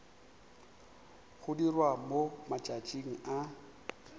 go dirwa mo matšatšing a